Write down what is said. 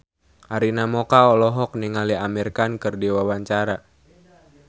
Arina Mocca olohok ningali Amir Khan keur diwawancara